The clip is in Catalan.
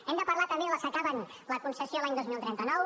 hem de parlar també de les que acaben la concessió l’any dos mil trenta nou